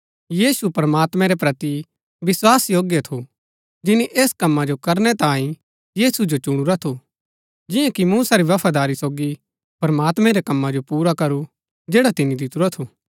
यीशु प्रमात्मैं रै प्रति विस्वासयोग्य थू जिनी ऐस कमा जो करनै तांये यीशु जो चुणुरा थू जिआं कि मूसा भी बफादारी सोगी प्रमात्मैं रै कमा जो पुरा करू जैड़ा तिनी दितुरा थू